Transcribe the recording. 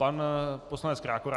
Pan poslanec Krákora.